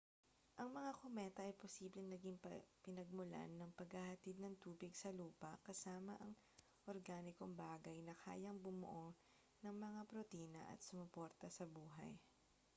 ang mga kometa ay posibleng naging pinagmulan ng paghahatid ng tubig sa lupa kasama ang organikong bagay na kayang bumuo ng mga protina at sumuporta sa buhay